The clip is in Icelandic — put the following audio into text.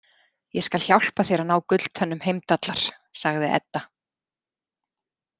Ég skal hjálpa þér að ná gulltönnum Heimdallar, sagði Edda.